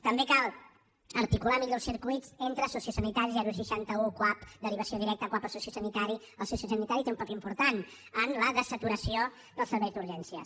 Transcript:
també cal articular millors circuits entre sociosanitari seixanta un cuap derivació directa cuap a sociosanitari el sociosanitari té un paper important en la dessaturació dels serveis d’urgències